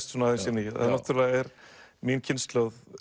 svona aðeins inn í það náttúrulega er mín kynslóð